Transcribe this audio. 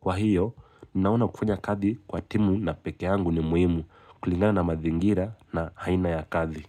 Kwa ahiyo, ninaona kufanya kazi kwa timu na peke yangu ni muhimu kulingana na mazingira na aina ya kazi.